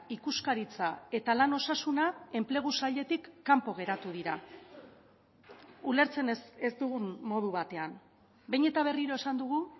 ikuskaritza eta lan osasuna enplegu sailetik kanpo geratu dira ulertzen ez dugun modu batean behin eta berriro esan dugu